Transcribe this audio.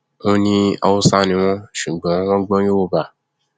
ó ní haúsá ni wọn ṣùgbọn wọn gbọ yorùbá